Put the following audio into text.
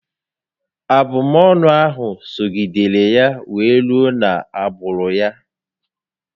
Abụmọnụ ahụ sogidere ya wee rue na agbụrụ ya